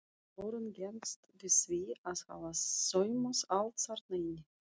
Þórunn gengst við því að hafa saumað allt þarna inni.